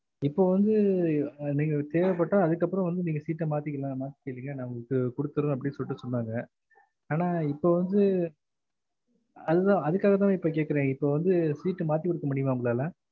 இப்ப வந்து நீங்க தேவப்பட்ட அதுக்கு அப்பறம் வந்து நீங்க seat மாத்திகிறலாம் மாத்திகேங்க நாங்க ஒங்களுக்கு குடுத்துறோம் அப்டி சொன்னங்க ஆனா இப்ப வந்து அது அதான் அதுக்கா தான் நான் கேக்குறேன் இப்ப வந்து seat மாத்தி குடுக்க முடிம்மா ஒங்களால